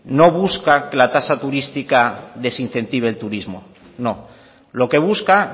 no busca que la tasa turística desincentive el turismo no lo que busca